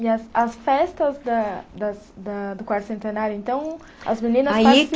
E as as festas da das da do Quarto Centenário, então, as meninas